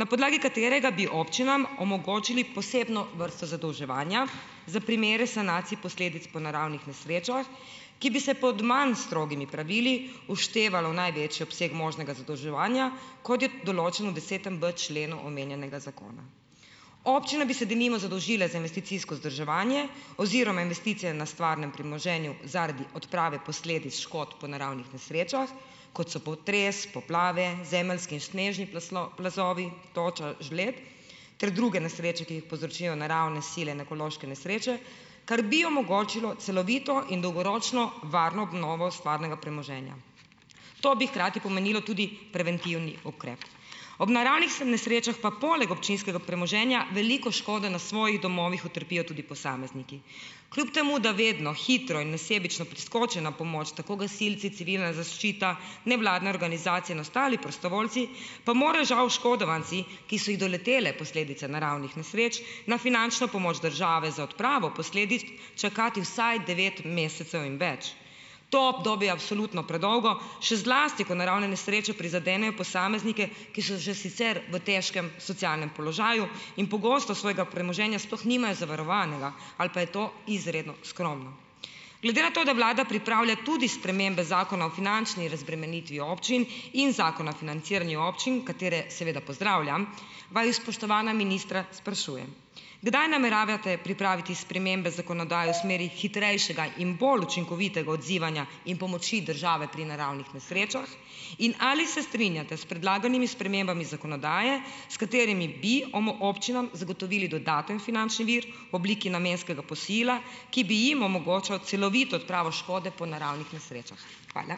na podlagi katerega bi občinam omogočili posebno vrsto zadolževanja za primere sanacij posledic po naravnih nesrečah, ki bi se pod manj strogimi pravili vštevalo v največji obseg možnega zadolževanja, kot je določeno v desetem b členu omenjenega zakona. Občine bi se denimo zadolžile za investicijsko vzdrževanje oziroma investicije na stvarnem premoženju zaradi odprave posledic škod po naravnih nesrečah, kot so potres, poplave, zemeljski in snežni plazovi, toča, žled ter druge nesreče, ki jih povzročijo naravne sile, in ekološke nesreče, kar bi omogočilo celovito in dolgoročno varno obnovo stvarnega premoženja. To bi hkrati pomenilo tudi preventivni ukrep. Ob naravnih nesrečah pa poleg občinskega premoženja veliko škode na svojih domovih utrpijo tudi posamezniki. Kljub temu da vedno hitro in nesebično priskočijo na pomoč tako gasilci, civilna zaščita, nevladne organizacije in ostali prostovoljci, pa morajo žal oškodovanci, ki so jih doletele posledice naravnih nesreč, na finančno pomoč države za odpravo posledic čakati vsaj devet mesecev in več. To obdobje je absolutno predolgo, še zlasti, ko naravne nesreče prizadenejo posameznike, ki so že sicer v težkem socialnem položaju in pogosto svojega premoženja sploh nimajo zavarovanega ali pa je to izredno skromno. Glede na to, da vlada pripravlja tudi spremembe Zakona o finančni razbremenitvi občin in Zakona o financiranju občin, katere seveda pozdravljam, vaju, spoštovana ministra, sprašujem, kdaj nameravate pripraviti spremembe zakonodaje v smeri hitrejšega in bolj učinkovitega odzivanja in pomoči države pri naravnih nesrečah in ali se strinjate s predlaganimi spremembami zakonodaje, s katerimi bi občinam zagotovili dodaten finančni vir obliki namenskega posojila, ki bi jim omogočal celovito odpravo škode po naravnih nesrečah. Hvala.